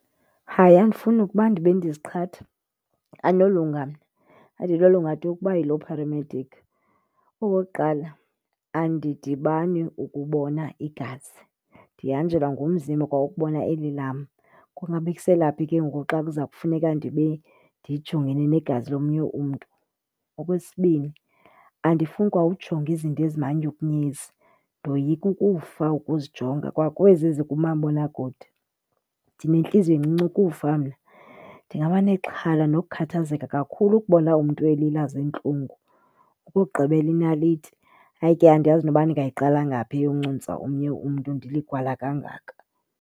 Hayi andifuni nokuba ndibe ndiziqhatha andinolunga mna, andinolunga tu ukuba yiloo paramedic. Okokuqala, andidibani ukubona igazi, ndihanjelwa ngumzimba kwa ukubona eli lam, kungabekisela phi ke ngoku xa kuza kufuneka ndibe ndijongene negazi lomnye umntu. Okwesibini, andifuni kwa ujonga izinto ezimanyukunyezi, ndoyika ukufa ukuzijonga kwa kwezi zikumabonakude. Ndinentiliziyo encinci ukufa mna, ndingabanexhala nokukhathazeka kakhulu ukubona umntu elila ziintlungu. Okokugqibela inaliti, hayi ke andiyazi noba ndingayiqala ngaphi eyoncuntsa omnye umntu ndiligwala kangaka.